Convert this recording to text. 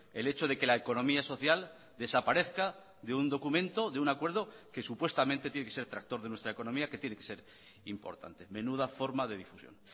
el hecho de que la economía social desaparezca de un documento de un acuerdo que supuestamente tiene que ser tractor de nuestra economía que tiene que ser importante menuda forma de difusión